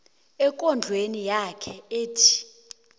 ekondlweni yakhe ethi